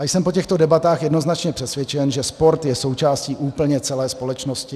A jsem po těchto debatách jednoznačně přesvědčen, že sport je součástí úplně celé společnosti.